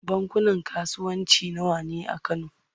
Bankunan kasuwanci nawa ne a Kano?